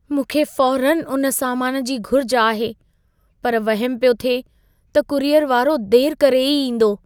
मूंखे फ़ौरनि उन सामान जी घुर्ज आहे, पर वहमु पियो थिए त कूरियर वारो देरि करे ई ईंदो।